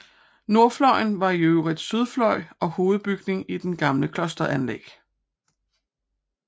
Nordfløjen var i øvrigt sydfløj og hovedbygning i det gamle klosteranlæg